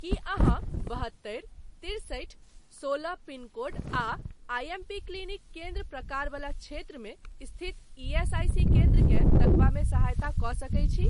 की अहाँ बहत्तरि तिरसठि सोलह पिनकोड आ आईएमपी क्लिनिक केन्द्र प्रकार वला क्षेत्रमे स्थित ईएसआईसी केन्द्रकेँ तकबामे सहायता कऽ सकैत छी?